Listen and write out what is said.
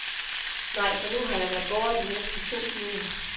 Nej, for nu har jeg været borte i næsten to timer.